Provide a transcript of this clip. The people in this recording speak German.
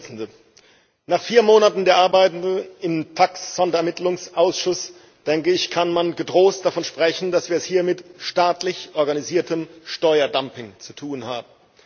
Frau Präsidentin! Nach vier Monaten der Arbeiten im TAXE Sonderermittlungsausschuss, denke ich, kann man getrost davon sprechen, dass wir es hier mit staatlich organisiertem Steuerdumping zu tun haben.